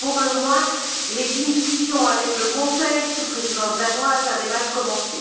car pour le moins, les discussions avec le Conseil, sous la Présidence danoise, avaient mal commencé.